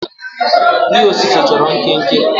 ihe osise chọrọ nkenke